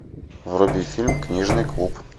вруби фильм книжный клуб